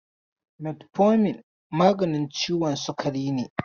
Metfomin maganin ciwon sukari ne.